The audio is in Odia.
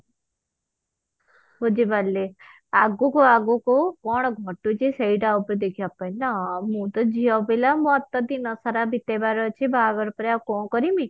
ବୁଝିପାରିଲି ଆଗକୁ ଆଗକୁ କଣ ଘଟୁଛି ସେଇଟା ଉପରେ ଦେଖିବା ପାଇଁ ନା ଆଉ ମୁଁ ତ ଝିଅ ପିଲା ମୋର ତ ଦିନ ସାରା ବିତେଇବାର ଅଛି ବାହାଘର ପରେ ଆଉ କଣ କରିମି